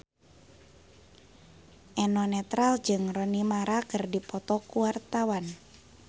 Eno Netral jeung Rooney Mara keur dipoto ku wartawan